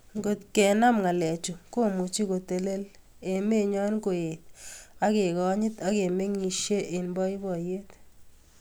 Ngotkenam ngalechu komuchi kotelel emenyo, koet ak kekonyit ak kemengisie eng boiboiyet